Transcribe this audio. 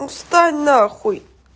ну встань на хуй